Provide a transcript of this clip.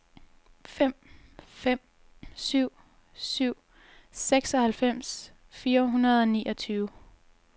fem fem syv syv seksoghalvfems fire hundrede og niogtyve